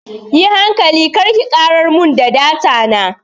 Yi hankali kina karar mun da data na.